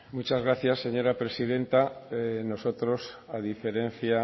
muchas gracias señora presidenta nosotros a diferencia